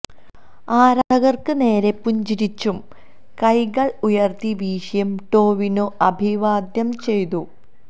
ആരാധകര്ക്ക് നേരെ പുഞ്ചിരിച്ചും കൈകള് ഉയര്ത്തി വീശിയും ടൊവിനോ അഭിവാദ്യം ചെയ്തു